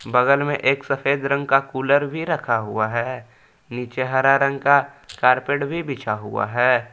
बगल में एक सफेद रंग का कुलर भी रखा हुआ है। नीचे हरा रंग का कारपेट भी बिछा हुआ है।